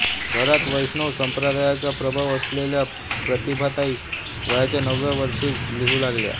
घरात वैष्णव संप्रदायाचा प्रभाव असलेल्या प्रतिभाताई वयाच्या नवव्या वर्षीच लिहू लागल्या